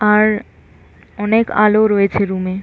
আর অনেক আলো রয়েছে রুম -এ--